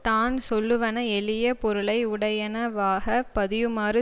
தான் சொல்லுவன எளிய பொருளையுடையனவாக பதியுமாறு